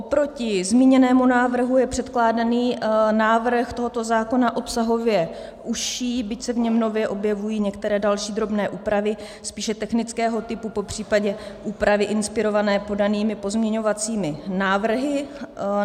Oproti zmíněnému návrhu je předkládaný návrh tohoto zákona obsahově užší, byť se v něm nově objevují některé další drobné úpravy spíše technického typu, popřípadě úpravy inspirované podanými pozměňovacími návrhy.